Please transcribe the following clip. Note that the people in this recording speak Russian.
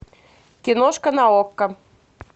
киношка на окко